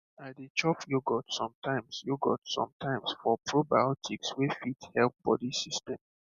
i dey chop yogurt sometimes yogurt sometimes for probiotics wey fit help body system